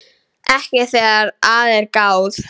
Ekki þegar að er gáð.